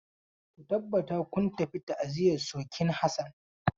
Ku tabbata kun tafi ta'aziyar surkin Hassan.